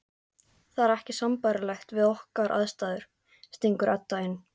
Það er ekki sambærilegt við okkar aðstæður, stingur Edda inn.